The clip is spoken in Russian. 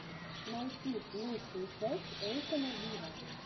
найти лучшую часть эйкона виво